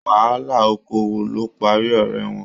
Wàhálà okoowo ló parí ọrẹ wọn.